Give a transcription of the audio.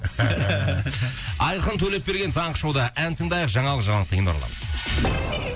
айқын төлепберген таңғы шоуда ән тыңдайық жаңалық жаңалықтан кейін ораламыз